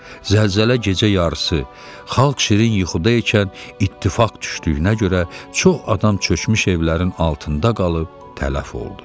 Zəlzələ gecə yarısı, xalq şirin yuxuda ikən ittifaq düşdüyünə görə çox adam çökmüş evlərin altında qalıb tələf oldu.